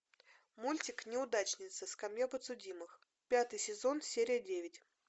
мультик неудачница скамья подсудимых пятый сезон серия девять